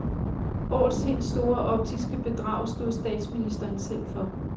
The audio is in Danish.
Årets helt store optiske bedrag stod statsministeren selv for.